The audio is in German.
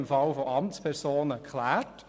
Im Falle von Amtspersonen wäre das aber klar.